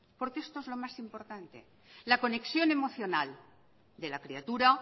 porque esto es lo más importante la conexión emocional de la criatura